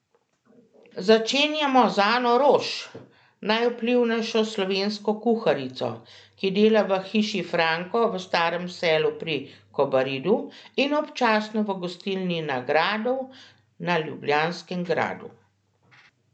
Začenjamo z Ano Roš, najvplivnejšo slovensko kuharico, ki dela v Hiši Franko v Starem selu pri Kobaridu, in občasno v gostilni Na gradu na Ljubljanskem gradu.